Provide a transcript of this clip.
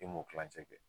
E m'o kilancɛ kɛ